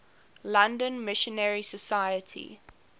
london missionary society